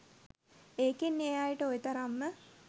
ඒකෙන් ඒ අයට ඔය තරම්ම